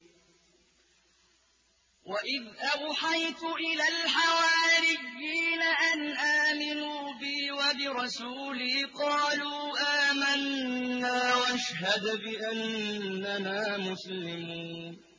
وَإِذْ أَوْحَيْتُ إِلَى الْحَوَارِيِّينَ أَنْ آمِنُوا بِي وَبِرَسُولِي قَالُوا آمَنَّا وَاشْهَدْ بِأَنَّنَا مُسْلِمُونَ